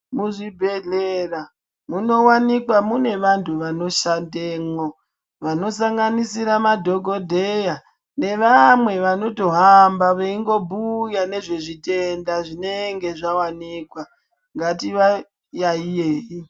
Muzvibhedhlera munowanikwa mune vandu vanoshandemwo vanosanganisira madhokodheya nevamww vanotohamba veyingobhuya nezvezvitenda zvinenge zvawanikwa ngatiwa yayiyei.